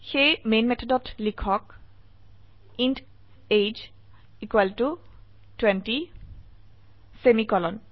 সেয়ে মেন মেথডত লিখক ইণ্ট এজিই 20 সেমিকোলন